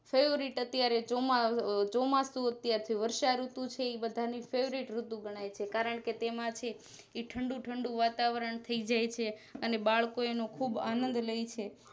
Favourite અત્યારે ચોમાહ ચોમાસું અત્યારે છે વર્ષાઋતુ છે એ બધાની Favourite ઋતુ ઘણાય છે કારણકે તેમાં છે ઠંડું ઠંડું વાતાવરણ થઇ જાય છે અને બાળકો એનો ખુબ આનદ લઈ છે